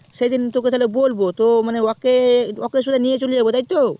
সেদিন তোকে তাহলে বলবো তো মানে ওকে শোধ নিয়েচলে যাবো তাই তো